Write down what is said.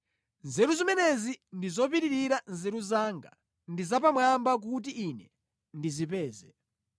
Nzeru zimenezi ndi zopitirira nzeru zanga, ndi zapamwamba kuti ine ndizipeze.